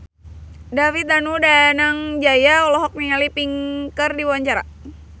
David Danu Danangjaya olohok ningali Pink keur diwawancara